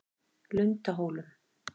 Lundahólum